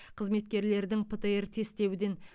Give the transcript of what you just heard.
қызметкерлердің птр тестеуден